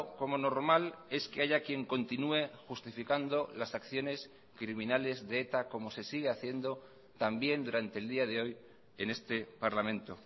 como normal es que haya quien continúe justificando las acciones criminales de eta como se sigue haciendo también durante el día de hoy en este parlamento